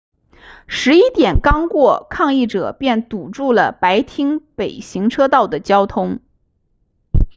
11点刚过抗议者便堵住了白厅北行车道的交通